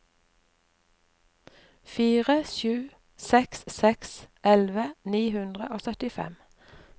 fire sju seks seks elleve ni hundre og syttifem